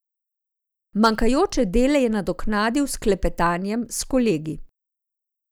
Manjkajoče dele je nadoknadil s klepetanjem s kolegi.